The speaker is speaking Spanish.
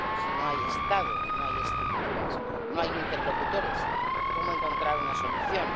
Si no hay Estado, no hay estructuras, no hay interlocutores, ¿cómo encontrar una solución?